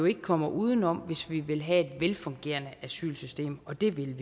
ikke kommer udenom hvis vi vil have et velfungerende asylsystem og det vil